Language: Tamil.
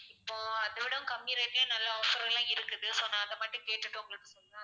இப்போ அதோட கம்மி rate லே நல்ல offer எல்லாம் இருக்குது so நான் அதை மட்டும் கேட்டுட்டு உங்களுக்கு சொல்றேன்